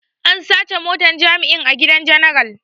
An sace motar jami'in a gidan general.